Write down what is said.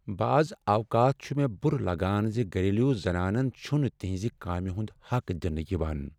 بعض اوقات چُھ مےٚ بُرٕ لگان ز گھریلو زنانن چھنہٕ تہنٛزِ کامہ ہنٛد حق دنہٕ یوان۔